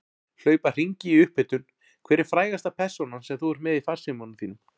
Hlaupa hringi í upphitun Hver er frægasta persónan sem þú ert með í farsímanum þínum?